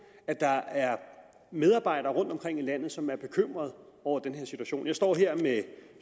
at der er medarbejdere rundtomkring i landet som er bekymrede over den her situation jeg står her med